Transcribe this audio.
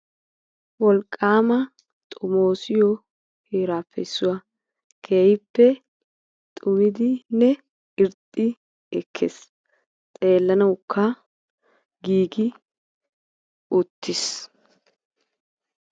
wolqaama xomoosiyoo heraappe issuwaa keehippe xumidinne irxxi ekkes xeellanawukka giigi uttis.